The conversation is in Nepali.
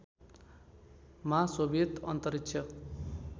मा सोभियत अन्तरिक्ष